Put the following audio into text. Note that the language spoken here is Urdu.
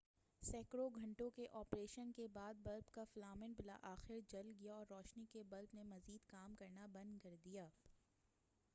سینکڑوں گھنٹوں کے آپریشن کے بعد بلب کا فلامنٹ بلاخر جل گیا اور روشنی کے بلب نے مزید کام کرنا بند کر دیا